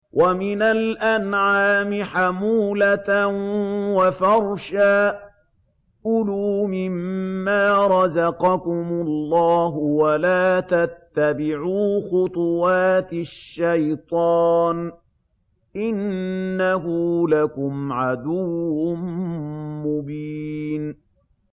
وَمِنَ الْأَنْعَامِ حَمُولَةً وَفَرْشًا ۚ كُلُوا مِمَّا رَزَقَكُمُ اللَّهُ وَلَا تَتَّبِعُوا خُطُوَاتِ الشَّيْطَانِ ۚ إِنَّهُ لَكُمْ عَدُوٌّ مُّبِينٌ